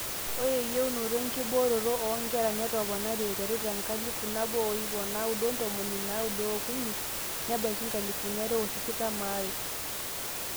ore eyieunoto enkebooroto oonkera netopone aiterru tenkalifu nabo o ip naaudo ontomoni naaudo ookuni nebaiki nkalifuni are o tikitam aare